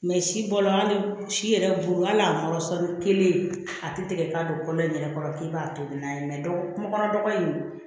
Mɛ si bɔlɔ hali si yɛrɛ bolo hali n'a wɔrɔnsɔn kelen a ti tigɛ ka don kɔlɔn in yɛrɛ kɔrɔ k'i b'a tobi n'a ye kunkɔnɔ dɔgɔnin in